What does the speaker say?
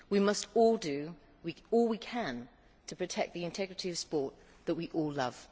We must all do all we can to protect the integrity of sport, which we all love.